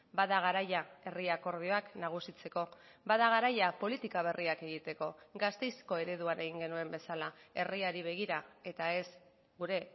bada garaia herri akordioak nagusitzeko bada garaia politika berriak egiteko gasteizko ereduan egin genuen bezala herriari begira eta ez gure